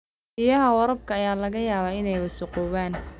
Biyaha waraabka ayaa laga yaabaa inay wasakhoobaan.